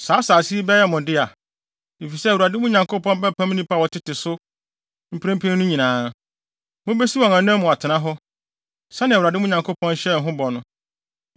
Saa asase yi bɛyɛ mo dea, efisɛ Awurade, mo Nyankopɔn bɛpam nnipa a wɔtete so mprempren no nyinaa. Mubesi wɔn anan mu atena hɔ, sɛnea Awurade, mo Nyankopɔn hyɛɛ mo bɔ no.